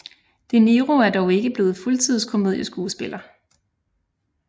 De Niro er dog ikke blevet fuldtids komedieskuespiller